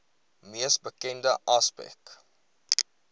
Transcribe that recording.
mees bekende aspek